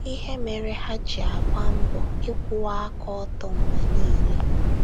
Ihe Mere Ha Ji Agba Mbọ Ịkwụwa Aka Ọtọ Mgbe Niile